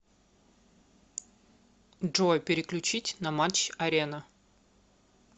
джой переключить на матч арена